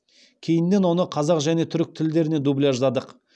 кейіннен оны қазақ және түрік тілдеріне дубляждадық